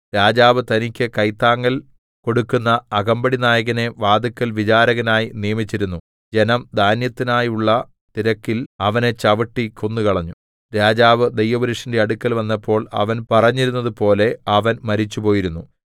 രാജാവ് തനിക്ക് കൈത്താങ്ങൽ കൊടുക്കുന്ന അകമ്പടിനായകനെ വാതില്ക്കൽ വിചാരകനായി നിയമിച്ചിരുന്നു ജനം ധാന്യത്തിനായുള്ള തിരക്കിൽ അവനെ ചവിട്ടി കൊന്നുകളഞ്ഞു രാജാവ് ദൈവപുരുഷന്റെ അടുക്കൽ വന്നപ്പോൾ അവൻ പറഞ്ഞിരുന്നതുപോലെ അവൻ മരിച്ചുപോയിരുന്നു